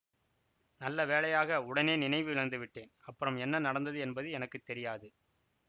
நல்ல வேளையாக உடனே நினைவு இழந்துவிட்டேன் அப்புறம் என்ன நடந்தது என்பது எனக்கு தெரியாது